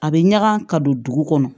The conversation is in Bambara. A bɛ ɲaga ka don dugu kɔnɔ